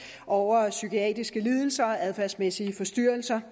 over psykiatriske lidelser og adfærdsmæssige forstyrrelser